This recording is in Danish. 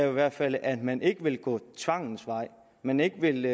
i hvert fald er at man ikke vil gå tvangens vej at man ikke vil